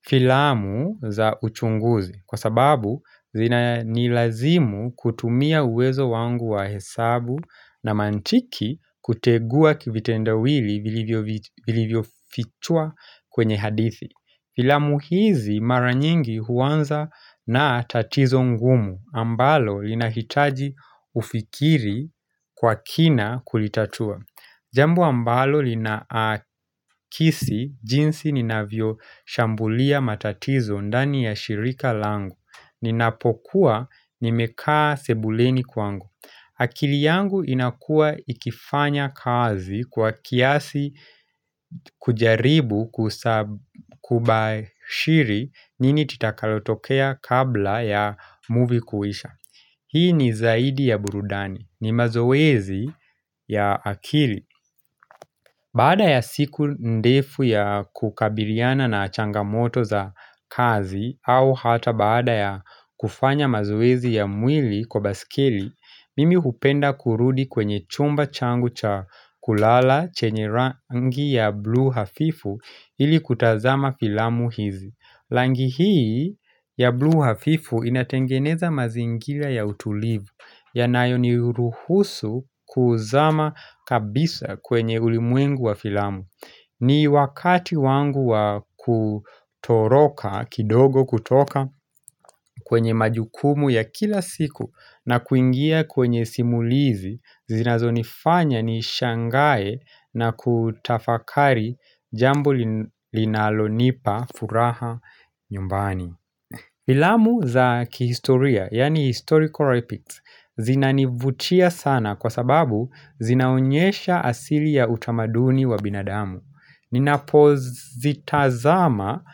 filamu za uchunguzi kwa sababu zina nilazimu kutumia uwezo wangu wa hesabu na mantiki kutegua kivitendawili vilivyo fichwa kwenye hadithi Filamu hizi mara nyingi huanza na tatizo ngumu ambalo linahitaji ufikiri kwa kina kulitatua Jambo ambalo linaakisi jinsi ninavyo shambulia matatizo ndani ya shirika langu. Ninapokuwa nimekaa sebuleni kwangu. Akili yangu inakua ikifanya kazi kwa kiasi kujaribu kubashiri nini titakalotokea kabla ya movie kuisha. Hii ni zaidi ya burudani. Ni mazowezi ya akili. Baada ya siku ndefu ya kukabiliana na changamoto za kazi au hata baada ya kufanya mazowezi ya mwili kwa baskeli, mimi hupenda kurudi kwenye chumba changu cha kulala chenye rangi ya blue hafifu ili kutazama filamu hizi. Langi hii ya blue hafifu inatengeneza mazingila ya utulivu yanayo ni ruhusu kuzama kabisa kwenye ulimwengu wa filamu ni wakati wangu wa kutoroka kidogo kutoka kwenye majukumu ya kila siku na kuingia kwenye simulizi zinazo nifanya nishangae na kutafakari jambo linalonipa furaha nyumbani Filamu za kihistoria, yaani historical epics zinanivutia sana kwa sababu zinaonyesha asili ya utamaduni wa binadamu Ninapozitazama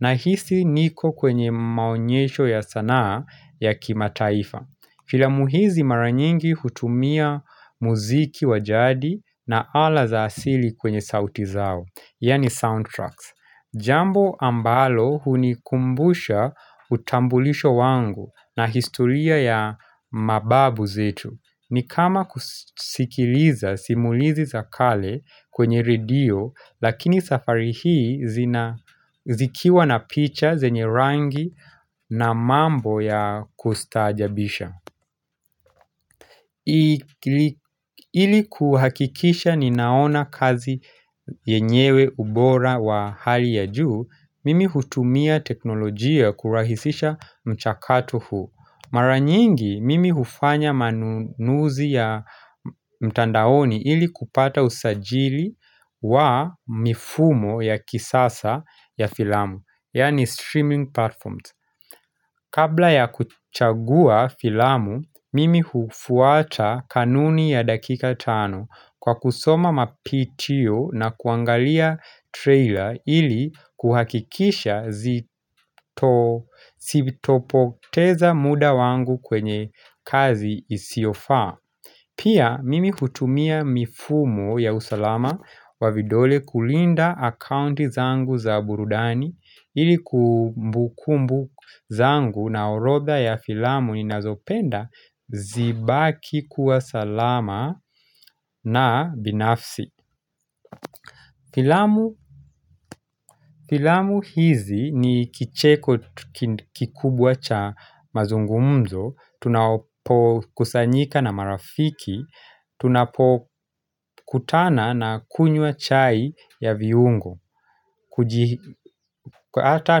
nahisi niko kwenye maonyesho ya sanaa ya kimataifa Filamu hizi mara nyingi hutumia muziki wa jadi na ala za asili kwenye sauti zao Yaani sound tracks. Jambo ambalo hunikumbusha utambulisho wangu na historia ya mababu zetu. Ni kama kusikiliza simulizi za kale kwenye redio lakini safari hii zikiwa na picha zenye rangi na mambo ya kustaajabisha. Ili kuhakikisha ninaona kazi yenyewe ubora wa hali ya juu Mimi hutumia teknolojia kurahisisha mchakato huu Mara nyingi mimi hufanya manunuzi ya mtandaoni ili kupata usajili wa mifumo ya kisasa ya filamu Yaani streaming platforms Kabla ya kuchagua filamu, mimi hufuata kanuni ya dakika tano kwa kusoma mapitio na kuangalia trailer ili kuhakikisha zi topo teza muda wangu kwenye kazi isiofaa. Pia mimi hutumia mifumo ya usalama wa vidole kulinda akaunti zangu za burudani ili kumbukumbu zangu na orodha ya filamu ninazopenda zibaki kuwa salama na binafsi. Pilamu hizi ni kicheko kikubwa cha mazungumzo, tunapo kusanyika na marafiki, tunapo kutana na kunywa chai ya viungo, kujihika, hata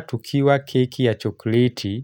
tukiwa keki ya chokleti.